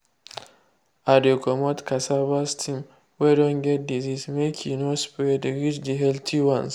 i dey comot cassava stem wey don get disease make e no spread reach the healthy ones.